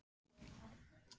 Ertu oft svekktur?